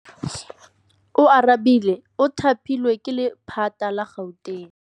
Oarabile o thapilwe ke lephata la Gauteng.